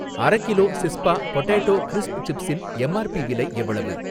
அரகிலோ சிஸ்பா potato crisp சிப்ஸின் M R P விலை எவ்வளவு?